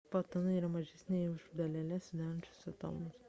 fotonai yra mažesni net už daleles sudarančias atomus